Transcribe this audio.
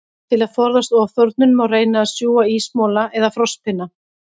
Til að forðast ofþornun, má reyna að sjúga ísmola eða frostpinna.